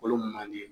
Kolo mandi